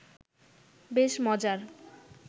বেশ মজার